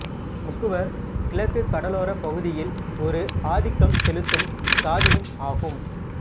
முக்குவர் கிழக்கு கடலோரப் பகுதியில் ஒரு ஆதிக்கம் செலுத்தும் சாதியும் ஆகும்